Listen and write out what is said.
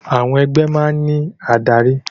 Àwọn ẹgbẹ́ máa ń ní adarí